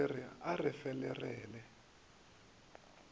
le le a re ferelela